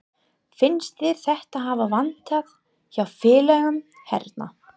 Finnst þér þetta hafa vantað hjá félögum hérna?